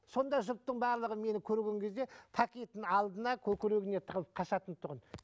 сонда жұрттың барлығы мені көрген кезде пакетін алдына көкірегіне тығылып қашатын тұғын